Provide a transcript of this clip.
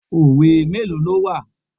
Òwe mélòó ló wà?